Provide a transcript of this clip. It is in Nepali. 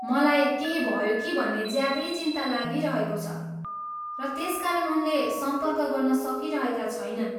मलाई केही भयो कि भन्ने ज्यादै चिन्ता लागिरहेको छ र त्यसकारण उनले सम्पर्क गर्न सकिरहेका छैनन्।